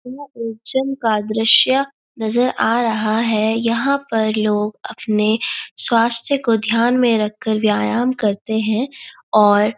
यह एक जिम का दृश्य नजर आ रहा है यहाँ पर लोग अपने स्वास्थ्य को ध्यान में रखकर व्यायाम करते हैं और --